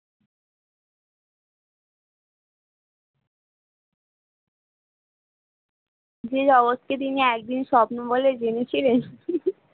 যে অবস্থি দিনে একদিন স্বপ্ন বলে জেনেছিলে